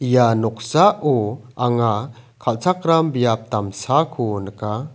ia noksao anga kalchakram biap damsako nika.